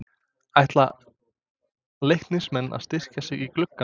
Ætla Leiknismenn að styrkja sig í glugganum?